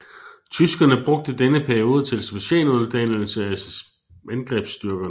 Tyskerne brugte denne periode til specialuddannelse af angrebsstyrkerne